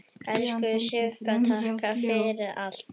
Elsku Sigga, takk fyrir allt.